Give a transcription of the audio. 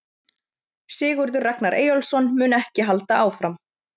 Sigurður Ragnar Eyjólfsson mun ekki halda áfram.